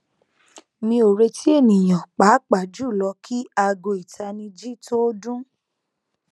mi o reti eniyan paapaa julọ ki aago itaniji to dun